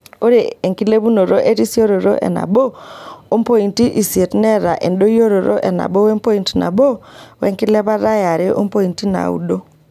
Ore enkilepunoto erisoto e nabo ompointi isiet neeta ndoyiorot e nabo wepoint nabo wenkilepat e are ompointi naado.